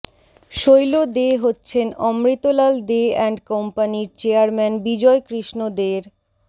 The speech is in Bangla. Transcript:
শৈল দে হচ্ছেন অমৃতলাল দে অ্যান্ড কোম্পানির চেয়ারম্যান বিজয় কৃষ্ণ দের